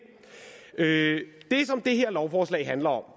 det som det her lovforslag handler om